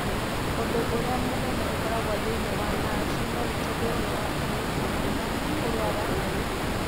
Ũndũ ũrĩa mũnene ũkoragwo thĩinĩ wa NASH nĩ maguta thĩinĩ wa ini, hamwe na kũrũara na gũthũkio.